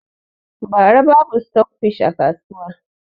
Bara babu stok fish a kasuwa